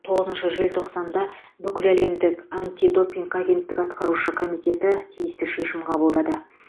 тоғызыншы желтоқсанда бүкіләлемдік антидопинг агенттігі атқарушы комитеті тиісті шешім қабылдады